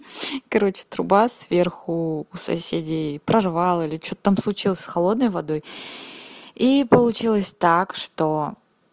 короче труба сверху у соседей прорвало или что там случилось с холодной водой и получилось так что